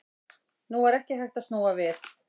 Nú var ekki hægt að snúa við.